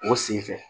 O sen fɛ